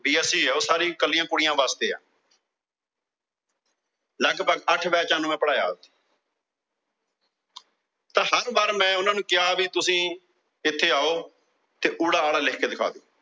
ਜਾਂ Bsc, ਏ ਉਹ ਕੱਲੀਆਂ ਕੁੜੀਆਂ ਵਾਸਤੇ ਏ। ਲਗਭਗ ਅੱਠ Batches ਨੂੰ ਪੜਿਆਇਆ ਉੱਥੇ। ਤੇ ਹਰ ਵਾਰ ਮੈ ਉਹਨਾਂ ਨੂੰ ਕਿਹਾ ਵੀ ਤੁਸੀਂ ਇੱਥੇ ਆਉ ਤੇ ਉੜਾ ਐੜਾ ਲਿਖ ਕੇ ਦਿਖਾ ਦਿਓ।